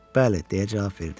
Bəli, deyə cavab verdim.